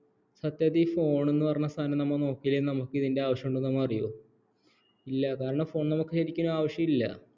സത്യത്തിൽ ഈ phone നോക്കിയില്ലേൽ നമുക് ഇതിൻ്റെ ആവശ്യമുണ്ടെന്നു നമ്മള് അറിയുവോ ഇല്ല കാരണം phone നമുക്ക് ശെരിക്കലും ആവശ്യമില്ല